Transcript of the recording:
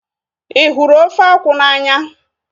Ị hụrụ ofe akwụ n'anya?